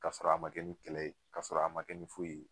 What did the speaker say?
K'a sɔrɔ a ma kɛ ni kɛlɛ ye k':a sɔrɔ a ma kɛ ni foyi ye